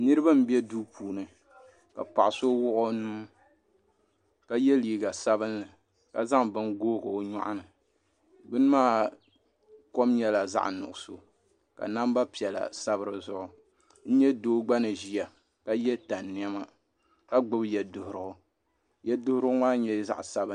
Niraba n bɛ duu puuni ka paɣa so wuɣi o nuu ka yɛ liiga sabinli ka zaŋ bini gooi o nyoɣani bini maa kom nyɛla zaɣ nuɣso ka namba piɛla sabi dizuɣu n nyɛ doo gba ni ʒiya ka yɛ tani niɛma ka gbubi yɛ duɣurigu yɛduɣurigu maa nyɛla zaɣ sabinli